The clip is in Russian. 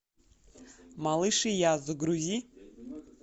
малыш и я загрузи